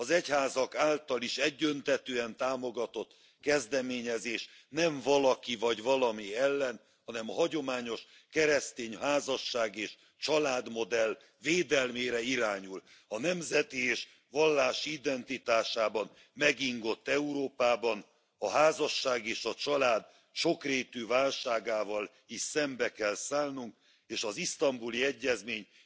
Az egyházak által is egyöntetűen támogatott kezdeményezés nem valaki vagy valami ellen, hanem a hagyományos keresztény házasság és családmodell védelmére irányul. A nemzeti és vallási identitásában megingott Európában a házasság és a család sokrétű válságával is szembe kell szállnunk, és az isztambuli egyezmény